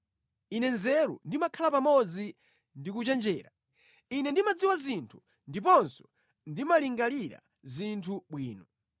Ine nzeru, ndimakhala pamodzi ndi kuchenjera. Ine ndimadziwa zinthu ndiponso ndimalingalira zinthu bwino.